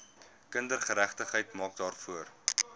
kindergeregtigheid maak daarvoor